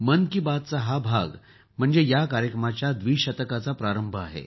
मन की बातचा हा भाग म्हणजे या कार्यक्रमाच्या द्विशतकाचा प्रारंभ आहे